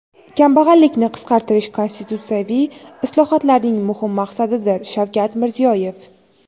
"Kambag‘allikni qisqartirish – konstitutsiyaviy islohotlarning muhim maqsadidir" – Shavkat Mirziyoyev.